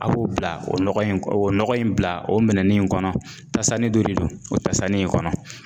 A b'o bila o nɔgɔ in o nɔgɔ in bila o minɛnnin in kɔnɔ, tasani dɔ de don, o tasani in kɔnɔ.